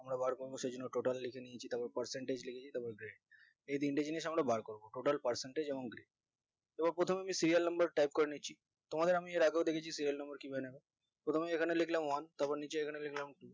আমরা বার করবো সেইজন্য total লিখে নিয়েছি তারপর percentage লিখেছি তারপর grade এই তিনটে জিনিস আমরা বার করবো total percentage এবং grade এবার প্রথমেই serial number type করে নিয়েছি তোমাদের এর আগেও দেখেছি serial number প্রথমে এখানে লিখলাম one তারপর নিচে এখানে লিখলাম two